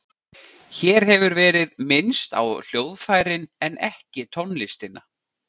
Hér hefur verið minnst á hljóðfærin en ekki tónlistina.